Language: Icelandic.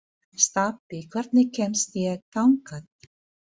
Stapi, hvernig kemst ég þangað?